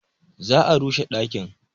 Za a rushe ɗakin.